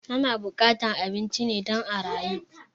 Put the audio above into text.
Ana buƙatan abinci ne don a rayu